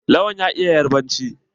Lawan ya iya yarbanci?